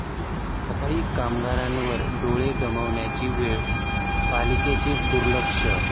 सफाई कामगारावर डोळे गमावण्याची वेळ, पालिकेचं दुर्लक्ष